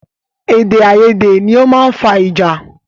Èdè àyedè ni ọ máa ń fa ìjà